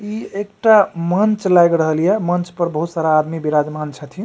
इ एकटा मंच लाग रहल या मंच पर बहुत सारा आदमी विराजमान छथिन।